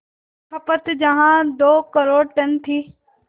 खपत जहां दो करोड़ टन थी